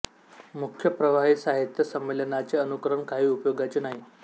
मुख्य प्रवाही साहित्य संमेलनाचे अनुकरण काही उपयोगाचे नाही